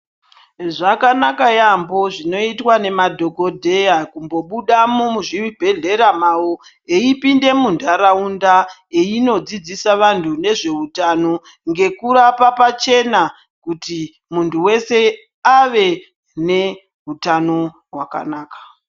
Zvakanaka yaambo zvinoitwa nemadhokodheya kungombuda muzvibhedhlera mao eipinde munthraunda eindodzidzisa anthu nezveutano ngekurapa pachena kuti munthu wese ave neutano hwakanaka.